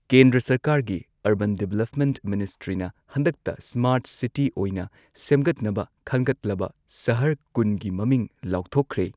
ꯀꯦꯟꯗ꯭ꯔ ꯁꯔꯀꯥꯔꯒꯤ urban development ꯃꯤꯅꯤꯁꯇ꯭ꯔꯤꯅ ꯍꯟꯗꯛꯇ ꯁ꯭ꯃꯥꯔꯠ ꯁꯤꯇꯤ ꯑꯣꯏꯅ ꯁꯦꯝꯒꯠꯅꯕ ꯈꯟꯒꯠꯂꯕ ꯁꯍꯔ ꯀꯨꯟꯒꯤ ꯃꯃꯤꯡ ꯂꯥꯎꯊꯣꯛꯈ꯭ꯔꯦ꯫